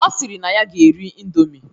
Ọ sịrị na ya ga-eri ịndomi